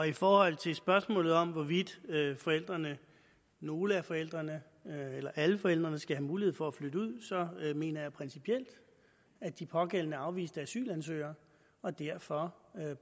i forhold til spørgsmålet om hvorvidt forældrene nogle af forældrene eller alle forældrene skal have mulighed for at flytte ud så mener jeg principielt at de pågældende er afviste asylansøgere og derfor